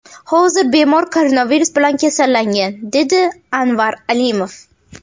Hozir bemor koronavirus bilan kasallangan”, dedi Anvar Alimov.